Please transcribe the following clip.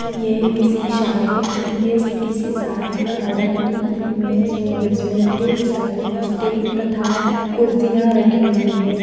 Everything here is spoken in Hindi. यह किसी शादी हो यह किसी शादी गार्डन की इमेज है जिसमे एक साइड स्टेज तथा कुर्सियाँ रखी हुई हैं ।